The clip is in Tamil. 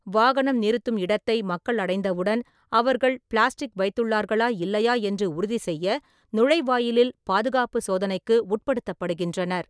வாகனம் நிறுத்தும் இடத்தை மக்கள் அடைந்தவுடன், அவர்கள் பிளாஸ்டிக் வைத்துள்ளார்களா இல்லையா என்று உறுதிசெய்ய நுழைவாயிலில் பாதுகாப்புச் சோதனைக்கு உட்படுத்தப்படுகின்றனர்.